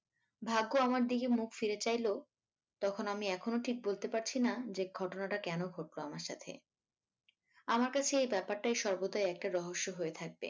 ভাগ্য আমার দিকে মুখ ফিরে চাইল তখন আমি এখনও ঠিক বলতে পারছিনা যে ঘটনাটা কেন ঘটলো আমার সাথে? আমার কাছে এই ব্যাপারটাই সর্বদা একটা রহস্য হয়ে থাকবে